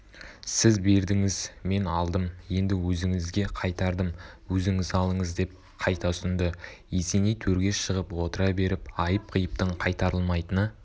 сіз бердіңіз мен алдым енді өзіңізге қайтардым өзіңіз алыңыз деп қайта ұсынды есеней төрге шығып отыра беріп айып-қиыптың қайтарылмайтыны